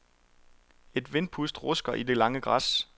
Et vindpust rusker i det lange græs.